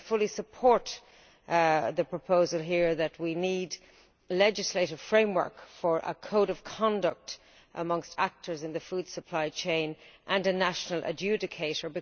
I fully support the proposal here that we need a legislative framework for a code of conduct for operators in the food supply chain, and a national adjudicator.